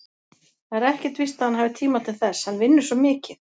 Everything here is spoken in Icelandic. Það er ekkert víst að hann hafi tíma til þess, hann vinnur svo mikið.